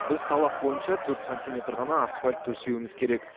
біз талап бойынша төрт сантиметр ғана асфальт төсеуіміз керек